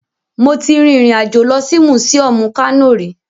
Mo ti rin ìrìn àjò lọ sí mùsíọmù Kano rí